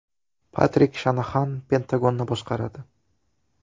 Patrik Shanaxan Pentagonni boshqaradi.